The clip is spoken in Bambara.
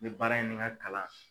baara in ni n ka kalan ye kalan.